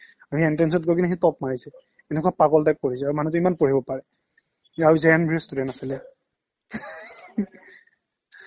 সি entrance ত গৈ পিনে সি top মাৰিছে এনেকুৱা পাগল type পঢ়িছে মানুহটোৱে ইমান পঢ়িব পাৰে সি ভাবিছে student আছিলে